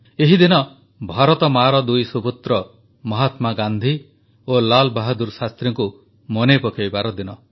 ଏହି ଦିନ ଭାରତମାଆର ଦୁଇ ସୁପୁତ୍ର ମହାତ୍ମା ଗାନ୍ଧୀ ଓ ଲାଲାବାହାଦୁର ଶାସ୍ତ୍ରୀଙ୍କୁ ମନେ ପକାଇବାର ଦିନ